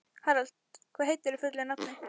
Harald, hvað heitir þú fullu nafni?